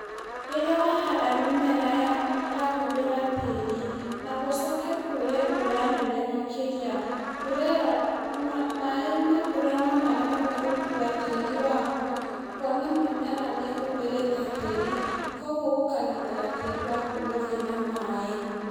Rĩrĩa wahanda mĩmera ya ĩrahumbĩra tĩri, na gũcoke kure mbura nene makĩria, mbura ĩyo na, maĩ ma mbura nomaremwo nĩ gũkua tĩri waku, kuona nĩmarahũthĩrĩte tĩri, koguo gũkagitĩra tĩri waku gũthiĩ na maĩ.